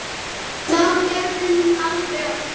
Það gerði hún aldrei aftur.